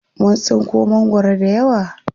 Mun tsinko mangwaro dayawa.